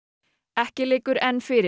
ekki liggur enn fyrir